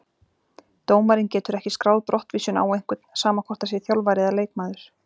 Dómarinn getur ekki skráð brottvísun á einhvern, sama hvort það sé þjálfari eða leikmaður.